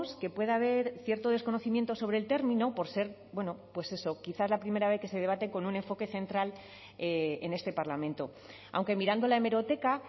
que pueda haber cierto desconocimiento sobre el término por ser bueno pues eso quizás la primera vez que se debate con un enfoque central en este parlamento aunque mirando la hemeroteca